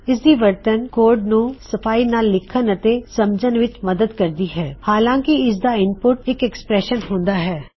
ਇਸ ਦੀ ਵਰਤਨ ਕੋਡ ਨੂੰ ਸਫਾਈ ਨਾਲ ਲਿੱਖਨ ਅਤੇ ਸਮਝਨ ਵਿੱਚ ਮਦਦ ਕਰਦੀ ਹੈ ਹਾਲਾਂਕਿ ਇਸਦਾ ਇਨਪੁਟ ਇੱਕ ਐੱਕਸਪ੍ਰੈਸ਼ਨ ਹੁੰਦਾ ਹੈ